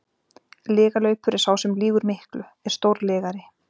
Lygalaupur er sá sem lýgur miklu, er stórlygari.